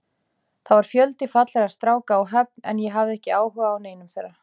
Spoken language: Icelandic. Það var fjöldi fallegra stráka á Höfn en ég hafði ekki áhuga á neinum þeirra.